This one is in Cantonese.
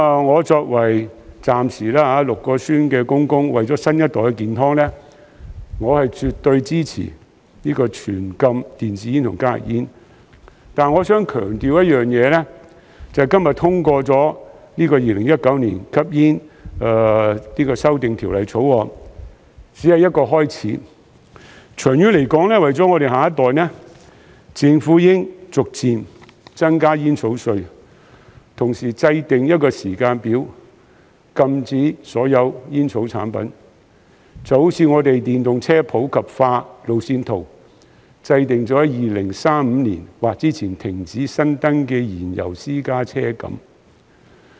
我作為暫時6名孫兒的祖父，為了新一代的健康，我是絕對支持全面禁止電子煙及加熱煙，但我想強調一件事，就是今天通過《2019年吸煙條例草案》只是一個開始，長遠而言，為了我們的下一代，政府應逐漸增加煙草稅，同時制訂一個時間表，禁止所有煙草產品，就好像我們電動車普及化路線圖，制訂於2035年或之前停止新登記燃油私家車一樣。